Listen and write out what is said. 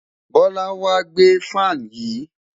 Bola n wa gbe fan yii